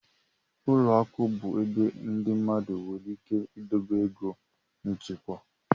Ụlọ akụ bụ ebe ndị mmadụ nwere ike idobe ego nchekwa.